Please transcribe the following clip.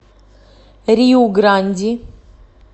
риу гранди